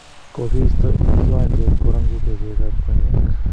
Kikiisto ing kiwanjet korang'uke bek ab konyek.